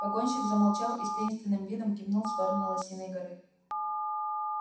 погонщик замолчал и с таинственным видом кивнул в сторону лосиной горы